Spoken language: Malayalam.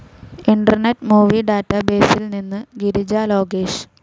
ഇന്റർനെറ്റ്‌ മൂവി ഡാറ്റാബേസിൽ നിന്ന് ഗിരിജ ലോകേഷ്